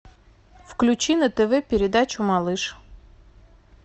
включи на тв передачу малыш